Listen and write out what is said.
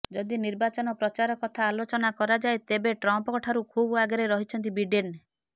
ଯଦି ନିର୍ବାଚନ ପ୍ରଚାର କଥା ଆଲୋଚନା କରାଯାଏ ତେବେ ଟ୍ରମ୍ପଙ୍କ ଠାରୁ ଖୁବ୍ ଆଗରେ ରହିଛନ୍ତି ବିଡେନ